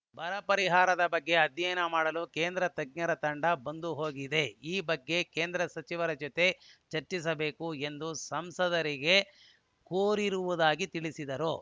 ಬರ ಪರಿಹಾರದ ಬಗ್ಗೆ ಅಧ್ಯಯನ ಮಾಡಲು ಕೇಂದ್ರ ತಜ್ಞರ ತಂಡ ಬಂದು ಹೋಗಿದೆ ಈ ಬಗ್ಗೆ ಕೇಂದ್ರ ಸಚಿವರ ಜೊತೆ ಚರ್ಚಿಸಬೇಕು ಎಂದು ಸಂಸದರಿಗೆ ಕೋರಿರುವುದಾಗಿ ತಿಳಿಸಿದರು